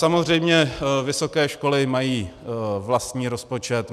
Samozřejmě vysoké školy mají vlastní rozpočet.